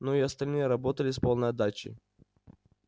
но и остальные работали с полной отдачей